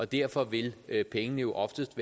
derfor vil vil pengene jo oftest